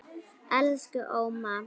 Elsku Óma.